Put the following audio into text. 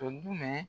Tɔ dun